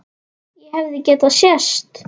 Og hefði getað sést.